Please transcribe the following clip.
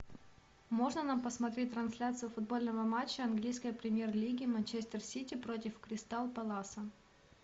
можно нам посмотреть трансляцию футбольного матча английской премьер лиги манчестер сити против кристал пэласа